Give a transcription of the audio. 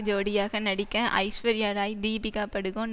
ஜோடியாக நடிக்க ஐஸ்வர்யா ராய் தீபிகா படுகோன்